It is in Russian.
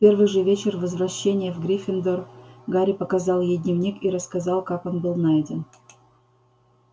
в первый же вечер возвращения в гриффиндор гарри показал ей дневник и рассказал как он был найден